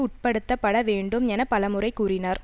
உட்படுத்தப்பட வேண்டும் என பலமுறை கூறினார்